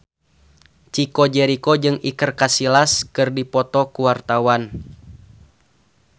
Chico Jericho jeung Iker Casillas keur dipoto ku wartawan